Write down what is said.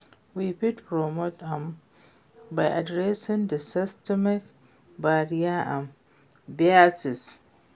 We fit promote am by adressing di systemic barriers and biases.